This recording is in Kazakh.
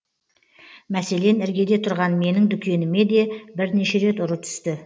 мәселен іргеде тұрған менің дүкеніме де бірнеше рет ұры түсті